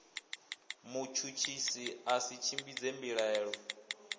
mutshutshisi ya si tshimbidze mbilaelo